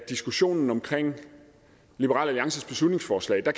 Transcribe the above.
diskussionen om liberal alliances beslutningsforslag det